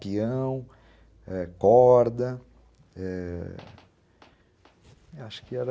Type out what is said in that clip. Pião, ãh, corda, eh, acho que era...